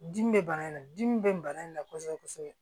Dimi bɛ bana in na dimi bɛ bana in na kosɛbɛ kosɛbɛ